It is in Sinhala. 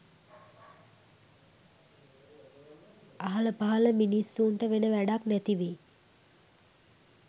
අහල පහල මිනිස්සුන්ට වෙන වැඬක් නැතිවෙයි